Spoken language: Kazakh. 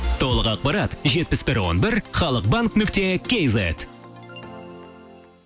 толық ақпарат жетпіс бір он бір халық банк нүкте кейзет